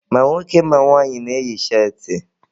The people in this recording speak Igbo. Ma nwoke ma nwaanyị na-eyi cheetị